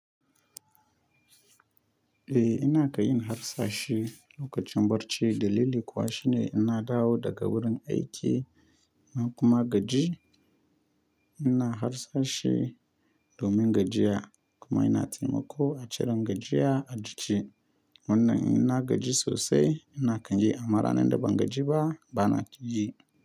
Eh ina ka yin harsashi lokacin barci, dalili kuwa shine ina dawo daga wurin aiki in kuma gaji. Ina harsashi domin gajiya kuma ina taimako a ciren gajiya a jiki. Wannan ina gaji sosai ina kan yi, amma ranar da ban gaji ba ba na yi.